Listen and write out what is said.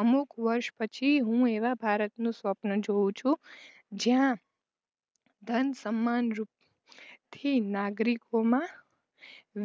અમુક વર્ષ પછી હું એવા ભારતનું સ્વપ્ન જોવ છું જ્યાં ધન સમ્માન રૂપ થી નાગરિકોમાં